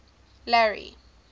larry